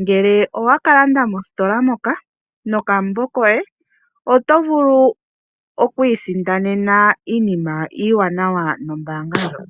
Ngele owa ka landa mositola moka nokakalata koye, oto vulu oku isindanena iinima iiwanawa nombaanga ndjoka.